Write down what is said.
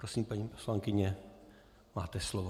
Prosím, paní poslankyně, máte slovo.